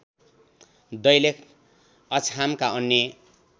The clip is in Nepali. दैलेख अछामका अन्य